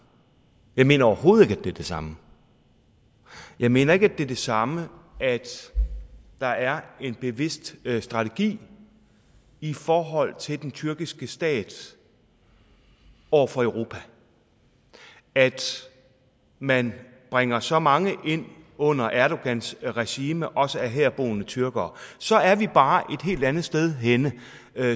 jeg mener overhovedet ikke det er det samme jeg mener ikke at det er det samme at der er en bevidst strategi i forhold til den tyrkiske stat over for europa altså at man bringer så mange ind under erdogans regime også af herboende tyrkere så er vi bare et helt andet sted henne